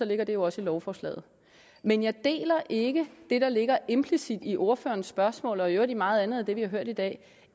ligger det jo også i lovforslaget men jeg deler ikke det der ligger implicit i ordførerens spørgsmål og i øvrigt i meget andet af det vi har hørt i dag